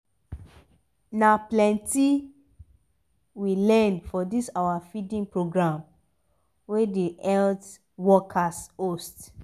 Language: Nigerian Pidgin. na plenti we learn for this our feeding program wey the healt workers host